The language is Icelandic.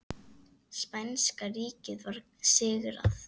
Spænska ríkið var sigrað.